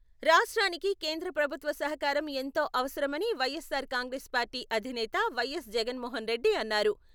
రాష్ట్రానికి కేంద్ర ప్రభుత్వ సహకారం ఎంతో అవసరమని వైఎస్ ఆర్ కాంగ్రెస్ పార్టీ అధినేత వైఎస్ జగన్ మోహన్ రెడ్డి అన్నారు.